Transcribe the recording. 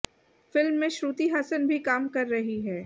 film में श्रुति हासन भी काम कर रही हैं